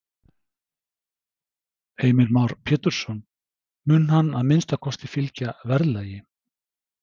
Heimir Már Pétursson: Mun hann að minnsta kosti fylgja verðlagi?